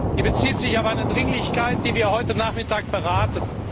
Sie bezieht sich auf eine Dringlichkeit, die wir heute Nachmittag beraten.